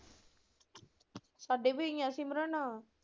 ਸਾਡੇ ਵੀ ਹੈਗੀਆਂ ਸਿਮਰਨ।